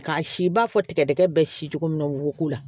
K'a si b'a fɔ tigɛdɛgɛ bɛ si cogo min na woko la